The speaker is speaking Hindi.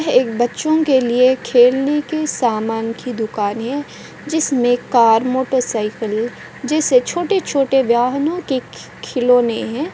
यह एक बच्चों के लिए खेलने के सामान की दुकान है जिसमें कार मोटर साइकिल जैसे छोटे-छोटे वाहनों के खि-खिलौने है।